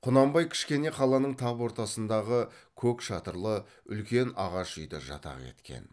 құнанбай кішкене қаланың тап ортасындағы көк шатырлы үлкен ағаш үйді жатақ еткен